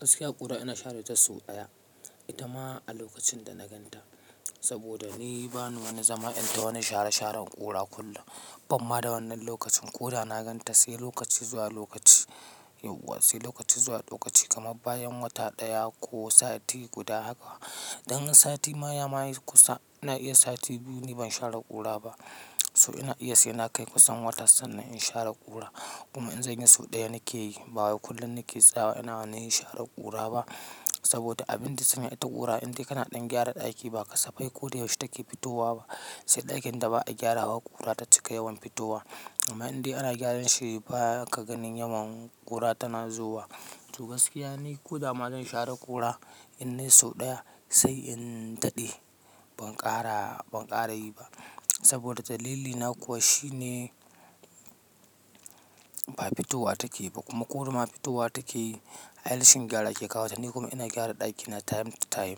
Gaskiya ƙura ina share ta sau ɗaya. Itama a lokacin da na gan ta. Saboda ni bani wani zama in ta wani share-sharen ƙura kullum. Bamma da wannan lokacin ko da na ganta sai lokaci zuwa lokaci yauwa sai lokaci zuwa lokaci, kamar bayan wata ɗaya ko sati guda haka. Dan sati ma ya ma yi kusa, ina iya sati biyu ni ban share ƙura ba. So ina iya sai na kai kusan wata sannan in share ƙura. Kuma in zanyi sau ɗaya nake yi, ba wai kullum nake tsayawa ina wani sharar ƙura ba. Saboda abin da sanya ita ƙura, in dai kana ɗan gyara ɗaki ba kasafai koda yaushe take fitowa ba. Sai ɗakin da ba a gyara wa ƙura ta cika yawan fitowa. Amma in dai ana gyaran shi ba ka ganin yawan ƙura tana zuwa. To gaskiya ni koda ma zan share ƙura, in nai sau ɗaya sai in daɗe. Ban ƙara, ban ƙara yi ba. Saboda dalili na kuwa shine, ba fitowa take ba. Kuma duda ma fitowa take yi, ai rashin gyara ke kawata. Ni kuma ina gyara ɗakina time to time.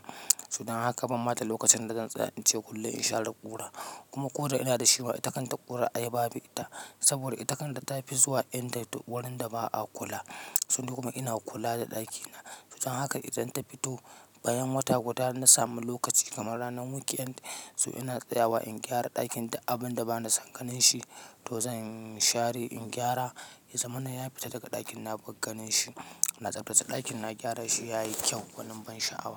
Sa dan haka bamma da lokacin da zan tsaya ince kullum in share ƙura. Kuma koda ina da shi ma ita kanta ƙura ai babu ita. Saboda ita kan ta tafi zuwa inda wurin da ba a kula. So ni kuma ina kula da ɗakina. Don haka idan ta fito bayan wata guda na samu lokaci kamar ranar weekend, so ina tsayawa in gyara ɗakin da abun da bana san ganin shi, to zan share, in gyara. Izaman na ya fita daga ɗakin na ban ganin shi. Na tsaftace ɗakin na, gyara shi yayi kyau. Gwanin ban sha'awa.